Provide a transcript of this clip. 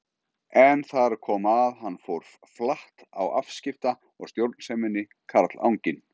En þar kom að hann fór flatt á afskipta- og stjórnseminni, karlanginn.